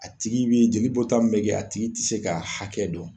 A tigi b'i jeli bɔ ta min bɛ kɛ a tigi tɛ se ka hakɛ dɔn.